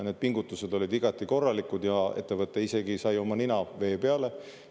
Need pingutused olid igati korralikud, ja ettevõte isegi sai oma nina vee peale.